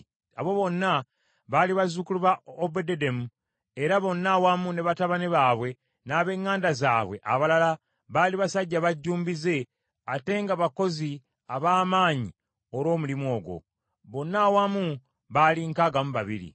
Abo bonna baali bazzukulu ba Obededomu, era bonna awamu ne batabani baabwe n’ab’eŋŋanda zaabwe abalala baali basajja bajjumbize, ate nga bakozi ab’amaanyi olw’omulimu ogwo. Bonna awamu baali nkaaga mu babiri.